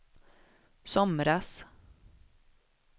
somras